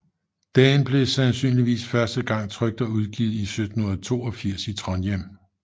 Den blev sandsynligvis første gang trykt og udgivet i 1782 i Trondheim